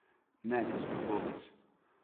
Ne, gospod Gomez.